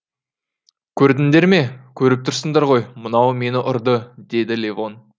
көрдіңдер ме көріп тұрсыңдар ғой мынау мені ұрды деді левон